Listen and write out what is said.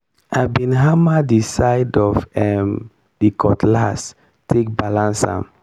i bin hammer di side of um di cutlass take balance am.